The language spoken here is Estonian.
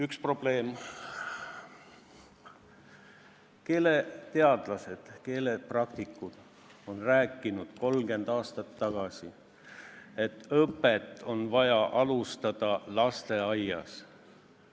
Üks probleem: keeleteadlased, keelepraktikud on rääkinud 30 aastat tagasi, et õpet on vaja alustada lasteaiast.